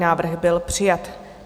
Návrh byl přijat.